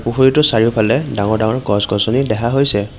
পুখুৰীটোৰ চাৰিওফালে ডাঙৰ ডাঙৰ গছ-গছনি দেখা হৈছে।